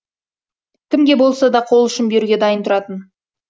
кімге болса да қол ұшын беруге дайын тұратын